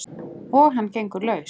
Og hann gengur laus!